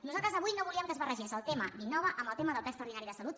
nosaltres avui no volíem que es barregés el tema d’innova amb el tema del ple extraordinari de salut